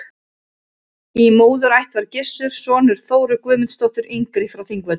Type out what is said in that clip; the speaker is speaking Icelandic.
Í móðurætt var Gissur sonur Þóru Guðmundsdóttur yngri frá Þingvöllum.